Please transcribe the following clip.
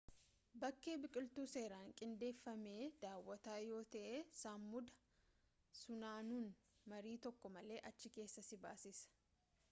bakkee biqiltuu seeraan qindeeffame daawatta yoo ta'e samuuda funaanuun marii tokko malee achi keessaa si baasisa